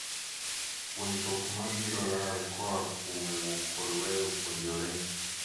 Puonjruok ma biro lal ka oaa kuom wuok kod weyo puonjore.